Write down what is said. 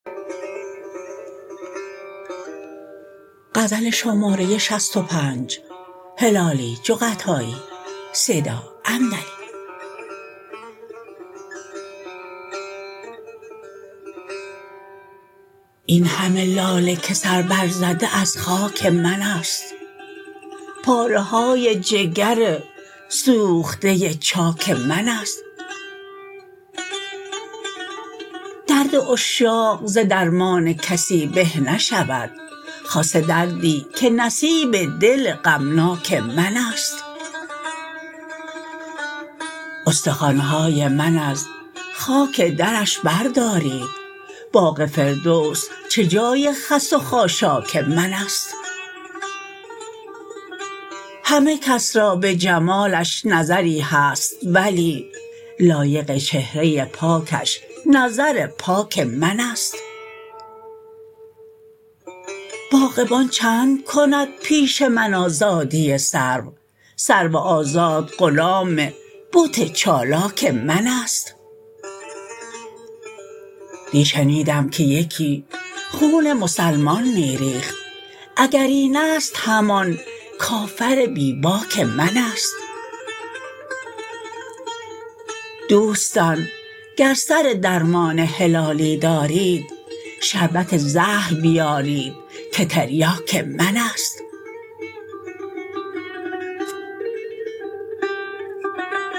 این همه لاله که سر بر زده از خاک منست پارهای جگر سوخته چاک منست درد عشاق ز درمان کسی به نشود خاصه دردی که نصیب دل غمناک منست استخوانهای من از خاک درش بردارید باغ فردوس چه جای خس و خاشاک منست همه کس را بجمالش نظری هست ولی لایق چهره پاکش نظر پاک منست باغبان چند کند پیش من آزادی سرو سرو آزاد غلام بت چالاک منست دی شنیدم که یکی خون مسلمان میریخت اگر اینست همان کافر بی باک منست دوستان گر سر درمان هلالی دارید شربت زهر بیارید که تریاک منست